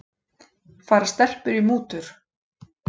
Fara stelpur í mútur?